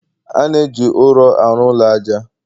a na-eji ụrọ arụ ụlọ aja